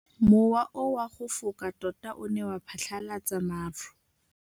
Mowa o wa go foka tota o ne wa phatlalatsa maru.